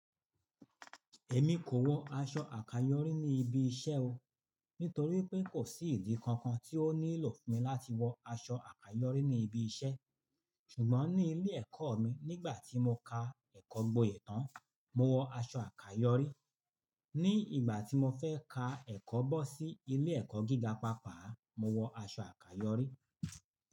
Èmi kò wọ aṣọ àkàyọ́rí ní ibi iṣẹ́ o, nítorí pé kò sí ìdí kankan tí ó nílò fún mi láti wọ aṣọ àkàyọrí ní ibi iṣẹ́. Ṣùgbọ́n ní ilé ẹ̀kọ́ mi nígbà tí mo ka ẹ̀kọ́ gboyè tán, mo wọ aṣọ àkàyọ́rí. Ní ìgbà tí mo fẹ́ ka ẹ̀kọ́ bọ́ sí ilé ẹ̀kọ́ gíga pàápàá, mo wọ aṣọ àkàyọrí.